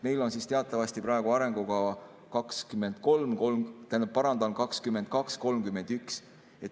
Meil on teatavasti praegu arengukava 2022–2031.